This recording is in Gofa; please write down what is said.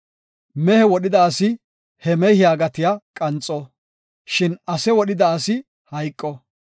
Mehe wodhida asi he mehiya gatiya qanxo; shin ase wodhida asi hayqo.